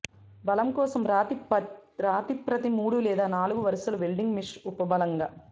బలం కోసం రాతి ప్రతి మూడు లేదా నాలుగు వరుసలు వెల్డింగ్ మెష్ ఉపబలంగా